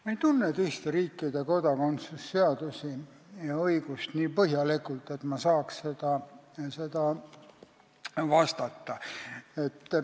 Ma ei tunne teiste riikide kodakondsuse seadusi ja õigust nii põhjalikult, et ma saaks sellele vastata.